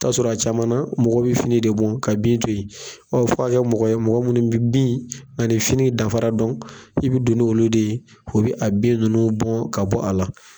I bɛ t'a sɔrɔ a caman , mɔgɔw bɛ fini de bɔ ka bin to yen, ɔ fɔ a ka mɔgɔ ye mɔgɔ minnu bɛ bin ani fini danfara dɔn, i bɛ don n'olu de ye , o bɛ a bin ninnu bɔ ka bɔ a la.